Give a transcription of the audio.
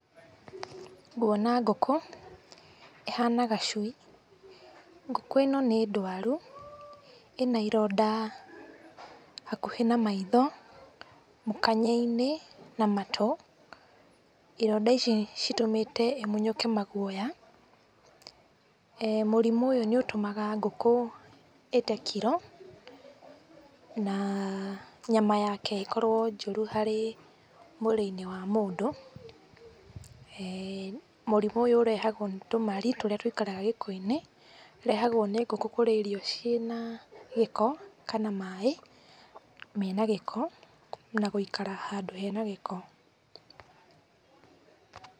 Nguona ngũkũ, ĩhana gacui, ngũkũ ĩno nĩ ndwaru, ĩna ironda hakuhĩ ma maitho, mũkanye-inĩ, na matũũ, ironda ici citũmĩte ĩmunyũke maguoya. Mũrimũ ũyũ nĩ ũtũmaga ngũkũ ĩte kiro, na nyama yake ĩkorwo njũru harĩ mwĩrĩ-nĩ wa mũndũ. Mũrimũ ũyũ ũrehagwo nĩ tũmari turĩa tũikaraga gĩko-inĩ, tũrehagwo nĩ ngũkũ kũria irio iria ciĩna gĩko kana maaĩ mena gĩko, na gũikara handũ hena gĩko.